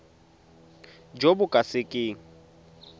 jo bo ka se keng